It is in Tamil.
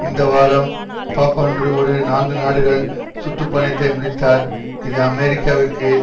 இந்த வாரம் பாப்பாண்ட்ரூ ஒரு நான்கு நாடுகள் சுற்று பயணத்தை முடித்தார் இது அமெரிக்காவிற்கு